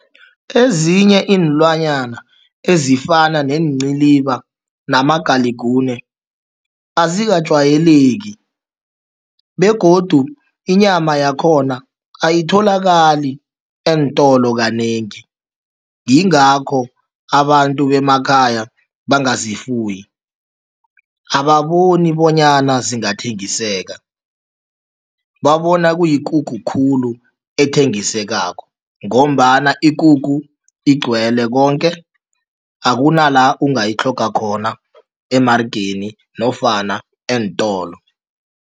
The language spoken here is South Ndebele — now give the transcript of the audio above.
Ezinye iinlwanyana ezifana neenciliba namagalikune azikajwayeleki begodu inyama yakhona ayitholakali eentolo kanengi, yingingakho abantu bemakhaya bangazifuyi. Ababoni bonyana zingathengiseka, babona kuyikukhu khulu ethengisekako ngombana ikukhu igcwele konke akunala ungayitlhoga khona emarageni nofana eentolo.